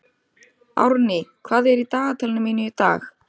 Árný, hvað er í dagatalinu mínu í dag?